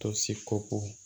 Tosi ko